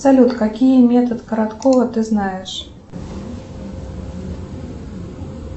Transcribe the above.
салют какие метод короткова ты знаешь